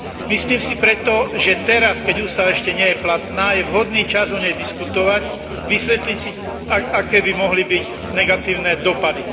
Myslím si preto, že teraz, keď ústava ešte nie je platná, je vhodný čas o nej diskutovať, vysvetliť si, aké by mohli byť negatívne dopady.